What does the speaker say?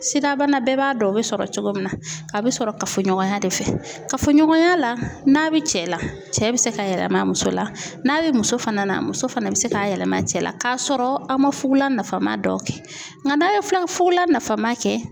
Sidabana, bɛɛ b'a dɔn o bɛ sɔrɔ cogo min na, a bɛ sɔrɔ kafoɲɔgɔnya de fɛ, kafɔ ɲɔgɔnya la, n'a bɛ cɛ la, cɛ bɛ se ka yɛlɛma muso la, n'a bɛ muso fana na, muso fana bɛ se k'a yɛlɛma cɛ la k'a sɔrɔ a ma fugula nafa ma dɔw kɛ nka n'a ye filɛ fugula nafama kɛ